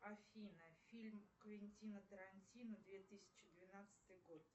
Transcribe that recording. афина фильм квентина тарантино две тысячи двенадцатый год